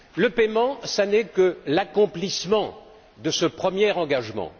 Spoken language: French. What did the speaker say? Le paiement, ce n'est que l'accomplissement de ce premier engagement.